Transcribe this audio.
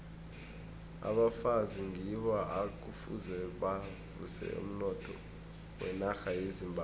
abafazi ngibo ekufuze bavuse umnotho wenarha yezimbabwe